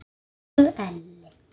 Elsku Elli.